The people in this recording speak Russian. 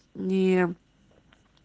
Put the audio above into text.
нее